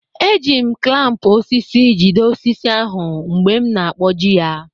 E ji m klampụ osisi jide osisi ahụ mgbe m na-akwọji ya.